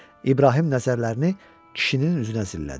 İbrahim nəzərlərini kişinin üzünə zillədi.